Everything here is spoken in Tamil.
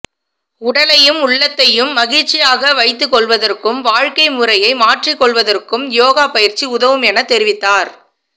உடலையும் உளத்தையும் மகிழ்ச்சியாக வைத்துக்கொள்வதற்கும் வாழ்க்கைமுறையை மாற்றிக்கொள்வதற்கும் யோகாப் பயிற்சி உதவும் என தெரிவத்தார்